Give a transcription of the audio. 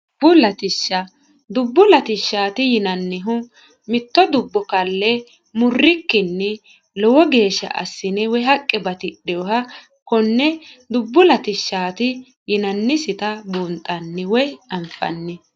dubbu latishsha dubbu latishshaati yinannihu mitto dubbo kalle murrikkinni lowo geeshsha assine woy haqqe batidheoha konne dubbu latishshaati yinannisita buunxanni woy anfanni